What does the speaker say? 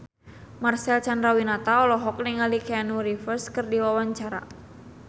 Marcel Chandrawinata olohok ningali Keanu Reeves keur diwawancara